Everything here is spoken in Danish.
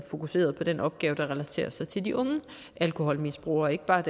fokuseret på den opgave der relaterer sig til de unge alkoholmisbrugere og ikke bare